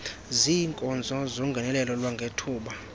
ziinkonzo zongenelelo lwangethuba